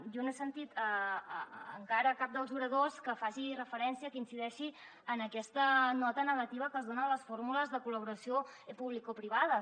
jo no he sentit encara a cap dels oradors que faci referència que incideixi en aquesta nota negativa que es dona a les fórmules de col·laboració publicoprivades